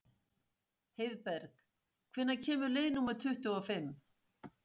Heiðberg, hvenær kemur leið númer tuttugu og fimm?